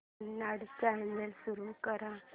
Kannada channel सुरू कर